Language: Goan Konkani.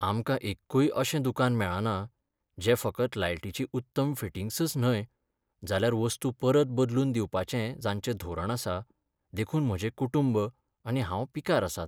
आमकां एक्कूय अशें दुकान मेळना जें फकत लायटीचीं उत्तम फिटिंग्सच न्हय जाल्यार वस्तू परत बदलून दिवपाचें जांचें धोरण आसा देखून म्हजें कुटुंब आनी हांव पिकार आसात.